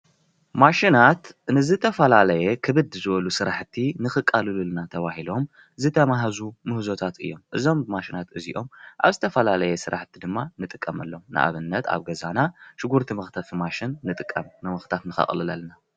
ማሽናት ንዝተፈላለየ ክብድ ዝበሉ ስራሕቲ ንከቃልሉልና ተባሂሎም ዝተመሃዙ ምህዞታት እዮም፡፡ እዞም ማሽናት እዚኦም ኣብ ዝተፈላለየ ስራሕቲ ንጥቀመሎም። ንኣብነት ኣብ ገዛና ሽጉርቲ መክተፊ ማሽን ንጥቀም ንምክታፍ ንከቅልለልና፡፡